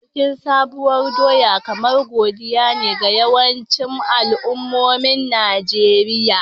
Bikin Sabuwar doya kamar Godiya ne ga yawancin al'ummomin Najeriya.